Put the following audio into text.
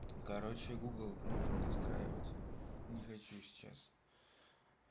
короче гугл нужно настраивать не хочу сейчас